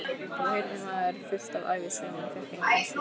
Þá heyrði maður fullt af ævisögum en fékk engan sjúss.